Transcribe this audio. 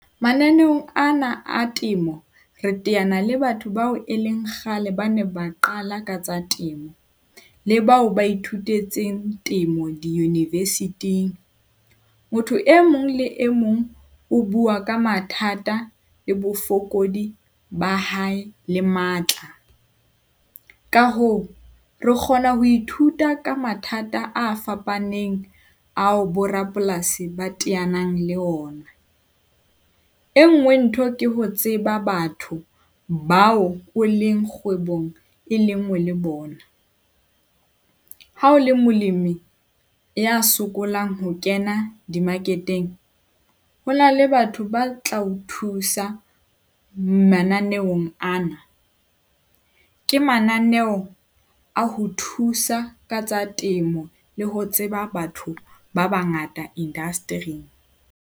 Mananeong ana a temo re teana le batho bao e leng kgale ba ne ba qala ka tsa temo, le bao ba ithutetseng temo di-university-ng. Motho e mong le e mong o bua ka mathata le bofokodi ba hae le matla. Ka hoo, re kgona ho ithuta ka mathata a fapaneng ao borapolasi ba teanang le ona. E nngwe ntho ke ho tseba batho bao o leng kgwebong e le nngwe le bona. Ha o le molemi ya sokolang ho kena di-market-eng. Ho na le batho ba tla o thusa mananeong ana, ke mananeo a ho thusa ka tsa temo le ho tseba batho ba bangata indasetiring.